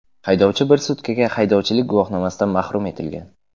Haydovchi bir sutkaga haydovchilik guvohnomasidan mahrum etilgan.